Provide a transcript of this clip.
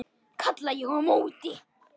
kalla ég á móti.